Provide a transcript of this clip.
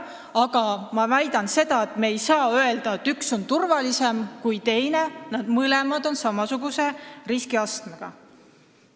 Aga ma väidan, et me ei saa öelda, et üks viis on turvalisem kui teine, sest nad on ühesuguse riskiastmega.